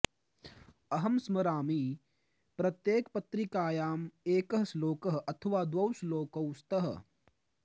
अहं स्मरामि प्रत्येकपत्रिकायां एकः श्लोकः अथवा द्वौ श्लोकौ स्तः